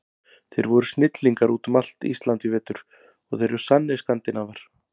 Þeir voru snillingar út um allt Ísland í vetur og þeir eru sannir Skandinavar.